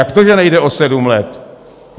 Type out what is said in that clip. Jak to, že nejde o sedm let?